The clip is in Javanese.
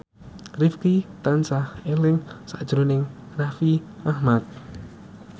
Rifqi tansah eling sakjroning Raffi Ahmad